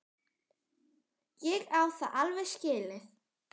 Ég á það alveg skilið.